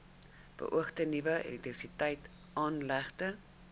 beoogde nuwe elektrisiteitsaanlegte